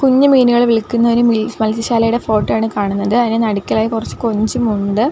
കുഞ്ഞ് മീനുകൾ വിൽക്കുന്ന ഒരു മിൽ മത്സ്യശാലയുടെ ഫോട്ടോ ആണ് ഈ കാണുന്നത് അതിന് നടുക്കിലായി കൊറച്ച് കൊഞ്ചും ഉണ്ട്.